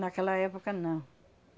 Naquela época, não.